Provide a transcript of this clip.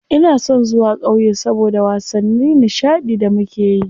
Ina son zuwa ƙauye saboda wasanni nishaɗi da muke yi.